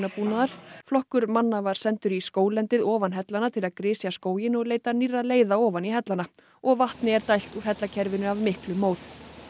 köfunarbúnaðar flokkur manna var sendur í skóglendið ofan hellanna til að grisja skóginn og leita nýrra leiða ofan í hellana og vatni er dælt úr af miklum móð